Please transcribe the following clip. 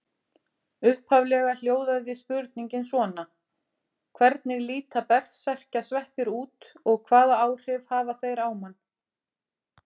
Upphaflega hljóðaði spurningin svona: Hvernig líta berserkjasveppir út og hvaða áhrif hafa þeir á mann?